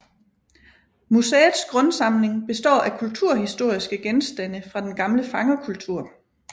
Museets grundsamling består af kulturhistoriske genstande fra den gamle fangerkultur